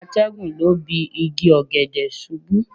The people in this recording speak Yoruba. Atẹ́gùn lọ́ bi igi ọ̀gẹ̀dẹ̀ ṣubú.